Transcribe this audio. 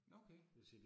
Nåh okay